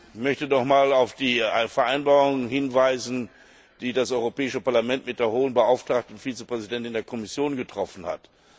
Ich möchte noch einmal auf die Vereinbarung hinweisen, die das Europäische Parlament mit der Hohen Beauftragten Vizepräsidentin der Kommission getroffen hat.